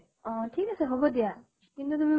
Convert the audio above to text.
অ ঠিক আছে, হʼব দিয়া। কিন্তু তুমি